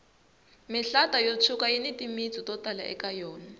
mihlata yo tshuka yini timitsu to tala eka yona